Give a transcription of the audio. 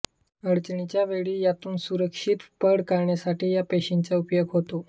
अडचणीच्या वेळी त्यातून सुरक्षित पळ काढण्यासाठी या पेशींचा उपयोग होतो